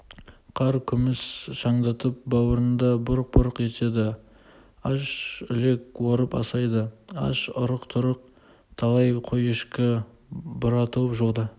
қар күміс шаңдатып бауырында бұрқ-бұрқ етеді аш үлек орып асайды аш арық-тұрық талай қой-ешкі бұратылып жолда